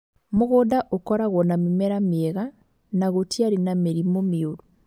Mũgũnda ũkoragwo na mĩmera mĩega na gũtiarĩ na mĩrimũ mĩũru.